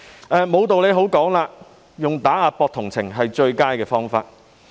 在沒有道理可講時，借打壓來博取同情是最佳方法。